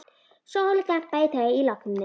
Sólin glampaði á þau í logninu.